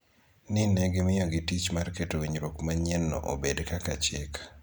ni ne gimiyogi tich mar keto winjruok manyien-no obed kaka chik.